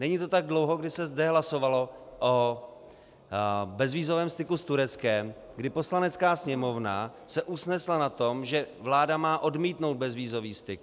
Není to tak dlouho, kdy se zde hlasovalo o bezvízovém styku s Tureckem, kdy Poslanecká sněmovna se usnesla na tom, že vláda má odmítnout bezvízový styk.